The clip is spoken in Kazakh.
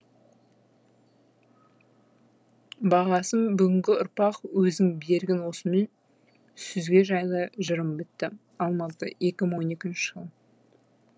бағасын бүгінгі ұрпақ өзің бергін осымен сүзге жайлы жылым бітті алматы неі мыңон екінші жыл